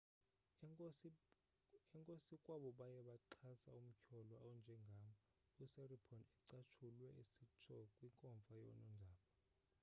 enkosi kwabo baye baxhasa umtyholwa onjengam usiripon ucatshulwe esitsho kwinkomfa yonondaba